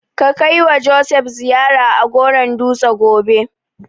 Ka kaiwa Joseph ziyara a Goron dutse gobe.